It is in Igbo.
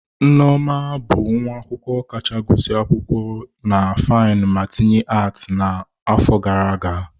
Nneoma bụ nwa akwụkwọ kacha agụsị akwụkwọ na fainu ma tinye ati n'afọ gara aga.